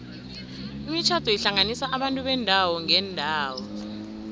imitjhado ihlanganisa abantu beendawo ngeendawo